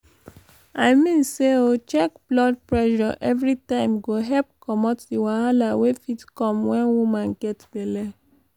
i mean say o check blood pressure everi time go help commot di wahala wey fit come wen woman get belle